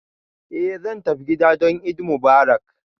Eh zan tafi gida don Eid Mubarak